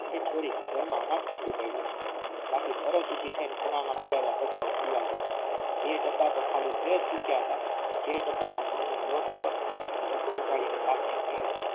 એ છોરી ઘરમાં અનાજ કેટલું પડ્યું છે બાકી તરત ઊભી થઈને ખૂણામાં પડેલા બધા એ ડબ્બા તો ખાલી થયજ ચૂક્યા હતા જે ડબ્બાના ઘઉંનો લોટ હતો એ ડબ્બો કાઢી ને કહ્યું